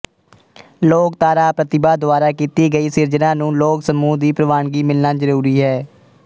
ਲੋਕਧਾਰਾ ਪ੍ਰਤਿਭਾ ਦੁਆਰਾ ਕੀਤੀ ਗਈ ਸਿਰਜਣਾ ਨੂੰ ਲੋਕ ਸਮੂਹ ਦੀ ਪ੍ਰਵਾਨਗੀ ਮਿਲਣਾ ਜਰੂਰੀ ਹੈ